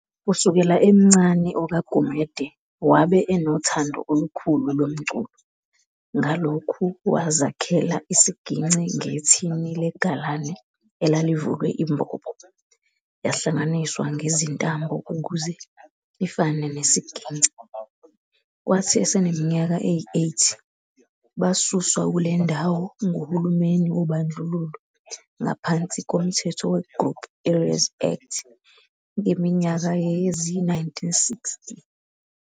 Kusukela emncane okaGumede wabe enothando olukhulu lomculo, ngalokhu wazakhela isigingci ngethini legalane elalivulwe imbobo, yahlanganiswa ngezintambo ukuze ifane nesigingci. Kwathi esenimnyaka eyi-8 basuswa kulendawo nguhulumeni wobandlululo ngaphansi komthetho we-"Group Areas Act" ngeminyaka yezi-1960.